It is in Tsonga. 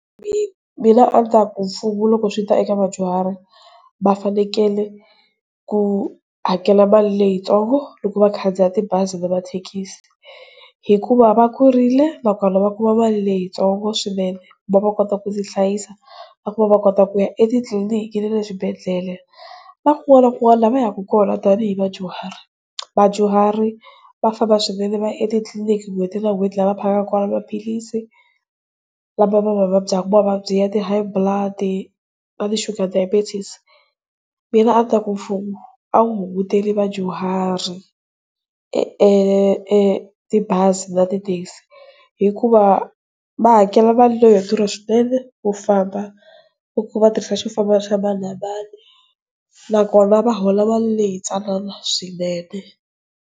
Mina a ni ta ku mfumo loko swi ta eka vadyuhari va fanekele ku hakela mali leyitsongo loko vakhandziya tibazi na mathekisi, hikuva va kurile nakona va kuma mali leyitsongo swinene ku va va kota ku tihlayisa va ku va va kota ku ya etitliniki ni le eswibedhlele, na kun'wana na kun'wana laha va yaka kona tanihi vadyuhari. Vadyuhari va famba swinene va ya etitliniki n'hweti na n'hweti laha va phakaka kona maphilisi lama va ma vabyaka, mavabyi ya ti High Blood na ti Sugar Diabetes. Mina a ni ta ku mfumo a wu hunguteli vadyuhari e etibazi na ti-taxi hikuva va hakela mali leyo durha swinene yo famba, hi ku va tirhisa xifambo xa mani na mani. Nakona va hola mali leyi tsanana swinene.